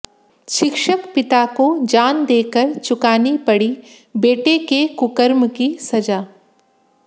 शिक्षक पिता को जान देकर चुकानी पड़ी बेटे के कुकर्म की सजा